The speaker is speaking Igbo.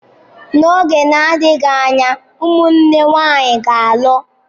N'oge na-adịghị anya, ụmụnne nwanyị ga-alụ.